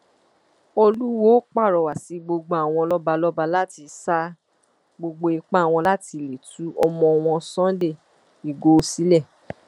olùwọọ pàrọwà sí gbogbo àwọn lọba lọba láti sa gbogbo ipá wọn láti lè tú ọmọ wọn sunday ighò sílẹ